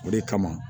O de kama